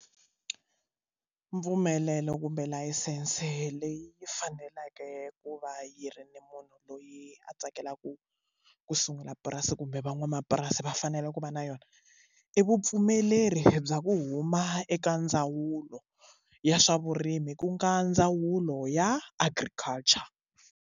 Mpfumelelo kumbe layisense leyi faneleke ku va yi ri ni munhu loyi a tsakelaka ku sungula purasi kumbe van'wamapurasi va fanele ku va na yona i vupfumeleri bya ku huma eka ndzawulo ya swa vurimi ku nga ndzawulo ya agriculture.